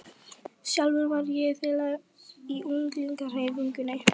Sjálfur var ég félagi í ungliðahreyfingunni.